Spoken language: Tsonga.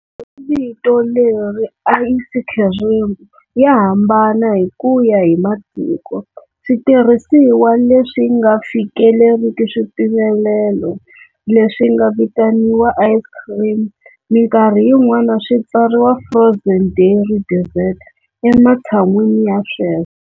Vito leri"ayisi khirimi" ya hambana hi ku ya hi matiko. Switirhisiwa leswinga fikeleriki swipimelelo leswinga vitaniwa ice cream minkarhi yin'wana swi tsariwa" frozen dairy dessert" ematshan'wini ya sweswo.